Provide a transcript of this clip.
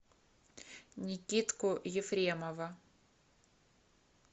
никитку ефремова